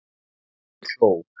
En pabbi hló.